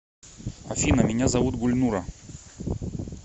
афина меня зовут гульнура